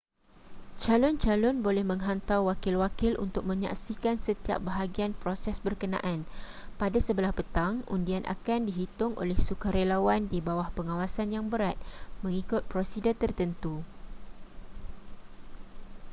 calon-calon boleh menghantar wakil-wakil untuk menyaksikan setiap bahagian proses berkenaan pada sebelah petang undian akan dihitung oleh sukarelawan di bawah pengawasan yang berat mengikut prosedur tertentu